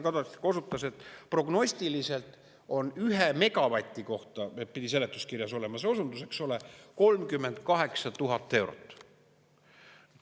Härra Kadastik osutas, et prognostiliselt on, ühe megavati kohta pidi seletuskirjas olema see osundus, eks ole, 38 000 eurot.